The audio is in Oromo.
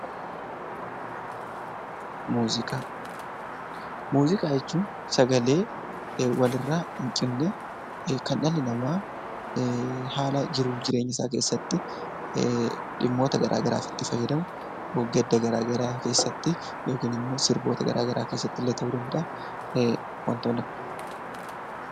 Muuziqaaa. Muuziqaa jechuun sagalee walirraa hin cinne kan dhalli namaa haala jiruuf jireenyasaa keessatti dhimmoota garaa garaaf itti fayyadamu gadda garaa garaa keessatti yookinimmoo sirboota garaa garaa keessattillee ta'uu danda'aa wantoonni akka